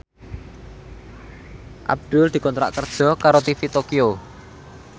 Abdul dikontrak kerja karo TV Tokyo